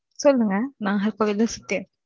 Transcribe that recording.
சொல்லுங்க நாகர்கோவில்